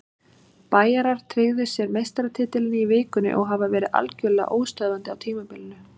Bæjarar tryggðu sér meistaratitilinn í vikunni og hafa verið algjörlega óstöðvandi á tímabilinu.